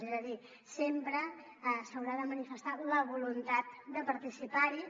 és a dir sempre s’haurà de manifestar la voluntat de participar hi